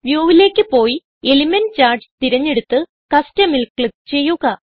view ലേക്ക് പോയി element charts തിരഞ്ഞെടുത്ത് കസ്റ്റം ൽ ക്ലിക്ക് ചെയ്യുക